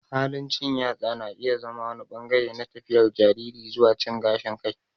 Halin cin yatsa na iya zama wani ɓangare na tafiyar jariri zuwa cin gashin kai.